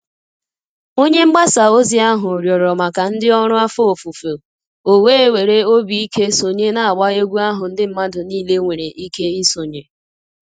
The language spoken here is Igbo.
Onye mgbasa ozi ahụ rịọrọ maka ndị ọrụ afọ ofufo, o wee were obi ike sonye n'agba egwu ahụ ndị mmadụ niile nwere ike isonye.